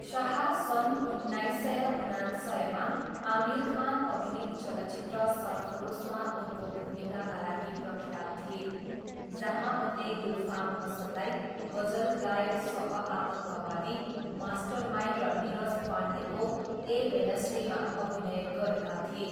शाह सन् उन्नाइस सय उनान्सयमा आमिर खान अभिनीत चलचित्र सरफरोसमा उनको भूमिकाका लागि प्रख्यात थिए, जहाँ उनले गुलफाम हसनलाई गजल गायक सह आतङ्कवादी मास्टरमाइन्ड र नीरज पाण्डेको ए वेनस्डेमा अभिनय गरेका थिए।